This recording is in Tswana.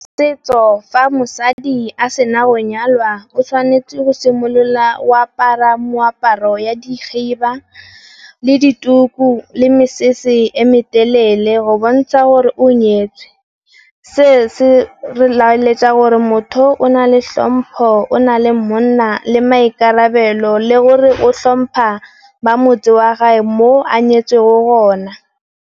Setso fa mosadi a sena go nyalwa o tshwanetse go simolola a apara moaparo wa dikgiba le dituku, le mesese e me telele go bontsha gore o nyetswe se, se re laletsa gore motho o, o na le tlhompho o na le mmona le maikarabelo le gore o tlhompha ba motse wa gage mo a nyetsweng gona.